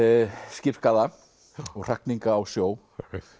skipsskaða og hrakninga á sjó